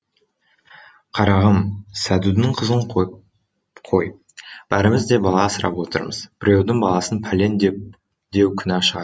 қарағым сәдудің қызын қой бәріміз де бала асырап отырмыз біреудің баласын пәлен деу күнә шығар